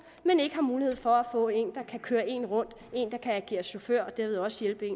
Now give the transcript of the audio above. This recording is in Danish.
ikke har mulighed for at få en der kan køre en rundt en der kan agere chauffør og derved også hjælpe